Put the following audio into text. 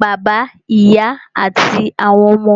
bàbá, ìyá àti àwọn ọmọ.